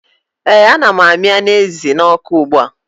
ee ana m na-amị anụ ezi n'ọkụ ugbua